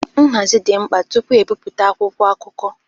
Nhazi dị mkpa tupu ebipụta akwụkwọ akụkọ.